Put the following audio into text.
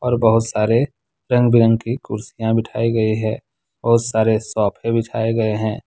और बहुत सारे रंग-बिरंग कुर्सियां बिठाई गई हैं बहुत सारे सोफे बिछाए गए हैं।